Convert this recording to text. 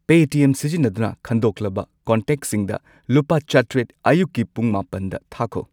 Paytm ꯁꯤꯖꯤꯟꯅꯗꯨꯅ ꯈꯟꯗꯣꯛꯂꯕ ꯀꯣꯟꯇꯦꯛꯁꯤꯡꯗ ꯂꯨꯄꯥ ꯆꯥꯇ꯭ꯔꯦꯠ ꯑꯌꯨꯛꯀꯤ ꯄꯨꯡ ꯃꯥꯄꯟꯗ ꯊꯥꯈꯣ꯫